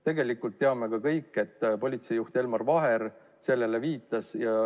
Tegelikult teame aga kõik, et politseijuht Elmar Vaher sellele ohule siiski viitas.